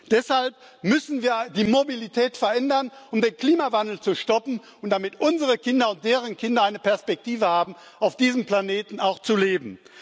Deshalb müssen wir die Mobilität verändern, um den Klimawandel zu stoppen und damit unsere Kinder und deren Kinder eine Perspektive haben, auf diesem Planeten auch zu leben.